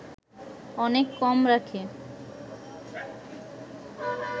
অনেক কম রাখে